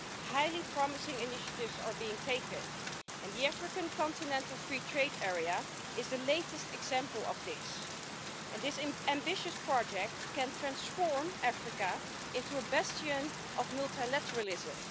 Highly promising initiatives are being taken, and the African Continental Free Trade Area is the latest example of this. This ambitious project can transform Africa into a bastion of multilateralism.